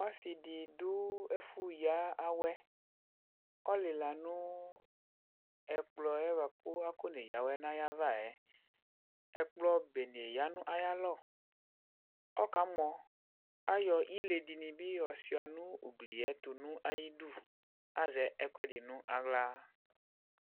Ɔsidi du ɛfu yawɛ kualila nu ɛkplɔ kakɔ neye awɛ nayava yɛ Ɛkplɔ bene ya nu ayalɔ Ɔka mɔ ayɔ ile dini bi sua nu ugli yɛtu nayidu Azɛ ɛkuɛdi nawla